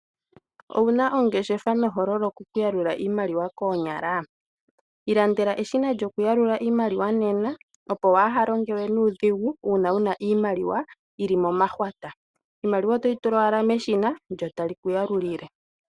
Owuna ongeshefa nohololoka okuyalula iimaliwa koonyala. Ilandela eshina lyo kuyalula iimaliwa